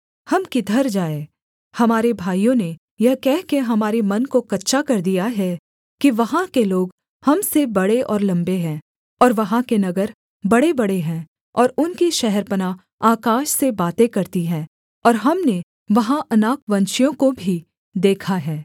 हम किधर जाएँ हमारे भाइयों ने यह कहकर हमारे मन को कच्चा कर दिया है कि वहाँ के लोग हम से बड़े और लम्बे हैं और वहाँ के नगर बड़ेबड़े हैं और उनकी शहरपनाह आकाश से बातें करती हैं और हमने वहाँ अनाकवंशियों को भी देखा है